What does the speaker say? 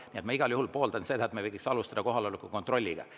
Nii et ma igal juhul pooldan seda, et me võiks alustada kohaloleku kontrolliga.